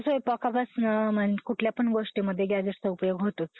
काय वाटतंय तुला, हवामान बदल म्हणजे कशामुळे होतं असेल जास्त?